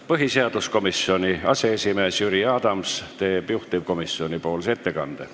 Põhiseaduskomisjoni aseesimees Jüri Adams teeb juhtivkomisjoni ettekande.